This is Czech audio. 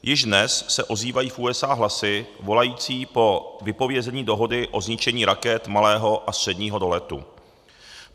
Již dnes se ozývají v USA hlasy volající po vypovězení dohody o zničení raket malého a středního doletu.